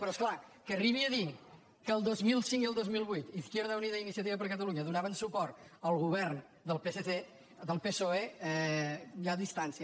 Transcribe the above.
però és clar que arribi a dir que al dos mil cinc i al dos mil vuit izquierda unida i iniciativa per catalunya donaven suport al govern del psoe hi ha distància